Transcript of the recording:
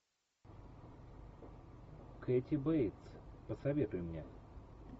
кэти бейтс посоветуй мне